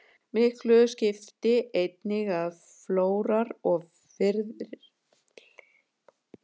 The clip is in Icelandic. Miklu skipti einnig að flóar og firðir töldust nú innan línu.